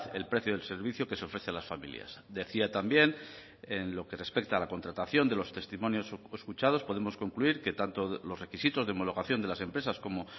el precio del servicio que se ofrece a las familias decía también en lo que respecta a la contratación de los testimonios escuchados podemos concluir que tanto los requisitos de homologación de las empresas como